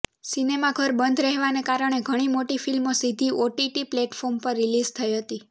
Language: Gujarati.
સિનેમાઘર બંધ રહેવાને કારણે ઘણી મોટી ફિલ્મો સીધી ઓટીટી પ્લેટફોર્મ પર રિલીઝ થઈ હતી